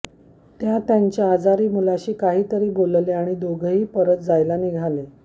त्या त्यांच्या आजारी मुलाशी काहीतरी बोलल्या आणि दोघंही परत जायला निघाले